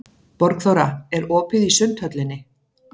Borgþóra, er opið í Sundhöllinni?